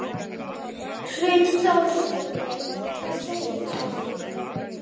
Hrund Þórsdóttir: Hvað segir það okkur?